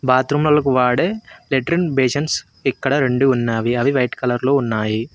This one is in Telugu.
బాత్రూమ్లలకు వాడే టెట్రిన్ బేషన్స్ ఇక్కడ రెండు ఉన్నావి అవి వైట్ కలర్ లో ఉన్నాయి.